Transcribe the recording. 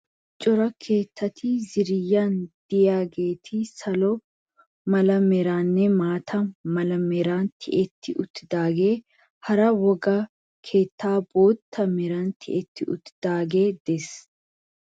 Issi cora keettati ziiriyan diyageeti salo mala meranninne maata mala meran tiyetti uttidaagee hara wogga keettay bootta meran tiyetti uttidaagee des.